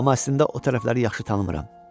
Amma əslində o tərəfləri yaxşı tanımıram.